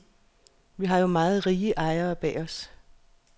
Vi har jo meget rige ejere bag os.